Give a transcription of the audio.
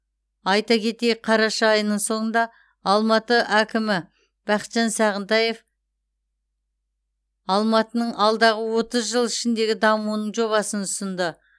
айта кетейік қараша айының соңында алматы әкімі бақытжан сағынтаев алматының алдағы отыз жыл ішіндегі дамуының жобасын ұсынды